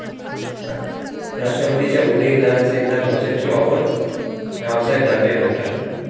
राष्ट्रवादीच्या उदयनराजेंना भाजपची ऑफर? रावसाहेब दानवे म्हणतात...